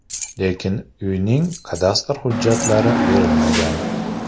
Lekin uyning kadastr hujjatlari berilmagan.